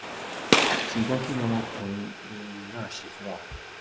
ṣùgbọn kín ni ọmọkùnrin um náà ṣe fún wọn